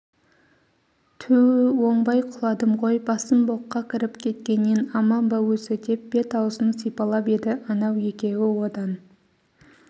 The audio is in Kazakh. түу оңбай құладым ғой басым боққа кіріп кеткеннен аман ба өзі деп бет-аузын сипалап еді анау екеуі одан